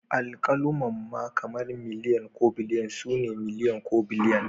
Alkalumma kamar miliyan ko biliyan su ne miliyan ko biliyan